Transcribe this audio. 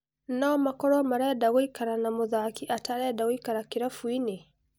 No-makorwo marenda gũikara na mũthaki atarenda gũikara kĩrabuinĩ ?